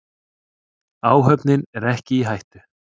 Áhöfnin er ekki í hættu.